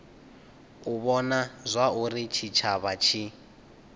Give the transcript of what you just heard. u vhona zwauri tshitshavha tshi